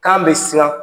K'an bɛ siran